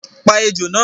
Pa ejò náà